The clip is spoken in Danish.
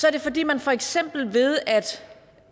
er det fordi man for eksempel ved at